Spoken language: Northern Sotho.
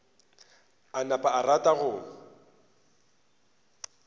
a napa a rata go